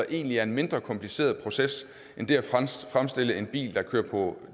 egentlig er en mindre kompliceret proces end det at fremstille en bil der kører på